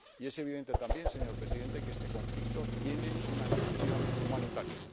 Y es evidente también, señor Presidente, que este conflicto tiene una dimensión humanitaria.